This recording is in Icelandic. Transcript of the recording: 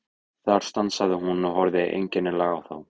Þar stansaði hún og horfði einkennilega á þá.